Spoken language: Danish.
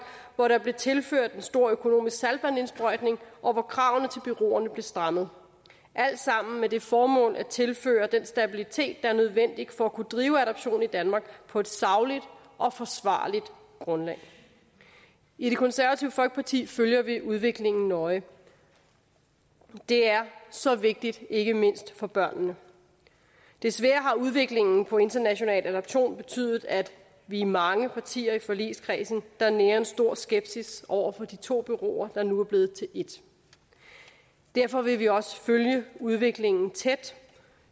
hvor der blev tilført en stor økonomisk saltvandsindsprøjtning og hvor kravene til bureauerne blev strammet det alt sammen med det formål at tilføre den stabilitet der er nødvendig for at kunne drive adoption i danmark på et sagligt og forsvarligt grundlag i det konservative folkeparti følger vi udviklingen nøje det er så vigtigt ikke mindst for børnene desværre har udviklingen inden for international adoption betydet at vi er mange partier i forligskredsen der nærer en stor skepsis over for de to bureauer der nu er blevet til ét derfor vil vi også følge udviklingen tæt